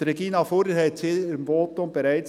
Regina Fuhrer sagte es in ihrem Votum bereits.